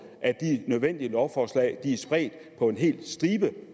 at de nødvendige lovforslag er spredt på en hel stribe